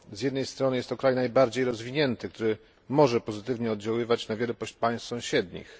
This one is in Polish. Z jednej strony jest to kraj najbardziej rozwinięty, który może pozytywnie oddziaływać na wiele państw sąsiednich.